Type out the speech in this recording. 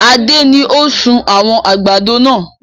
Adé ni ó sun àwọn àgbàdo náà